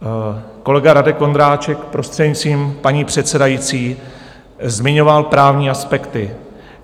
Kolega Radek Vondráček, prostřednictvím paní předsedající, zmiňoval právní aspekty.